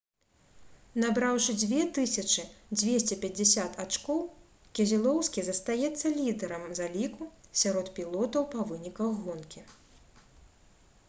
набраўшы 2250 ачкоў кезелоўскі застаецца лідарам заліку сярод пілотаў па выніках гонкі